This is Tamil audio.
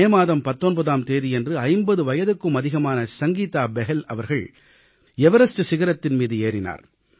மே மாதம் 19ஆம் தேதியன்று 50 வயதுக்கும் அதிகமான சங்கீதா பெஹல் அவர்கள் எவரஸ்ட் சிகரத்தின் மீது ஏறினார்